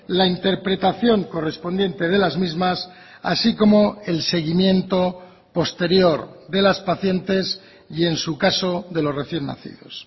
la interpretación correspondiente de las mismas así como el seguimiento posterior de las pacientes y en su caso de los recién nacidos